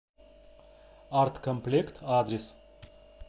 арт комплект адрес